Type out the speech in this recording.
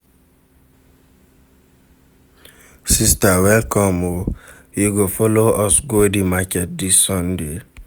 Sister welcome o, you go folo us go di market dis Sunday?